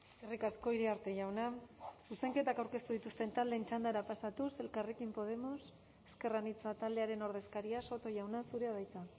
eskerrik asko iriarte jauna zuzenketak aurkeztu dituzten taldeen txandara pasatuz elkarrekin podemos ezker anitza taldearen ordezkaria soto jauna zurea da hitza